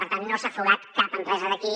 per tant no s’ha fugat cap empresa d’aquí